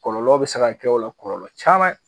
Kɔlɔlɔw be se ka kɛ o la kɔlɔlɔ caman ye